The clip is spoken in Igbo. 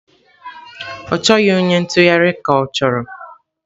Ọ chọghị onye ntụgharị ka ọ?